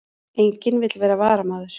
Enginn vill vera varamaður